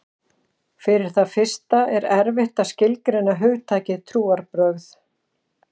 Fyrir það fyrsta er erfitt að skilgreina hugtakið trúarbrögð.